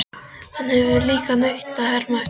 Hann hefur líka nautn af að herma eftir fólki.